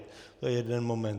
To je jeden moment.